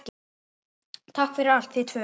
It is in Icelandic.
Takk fyrir allt, þið tvö.